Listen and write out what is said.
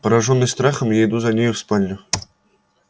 поражённый страхом я иду за нею в спальню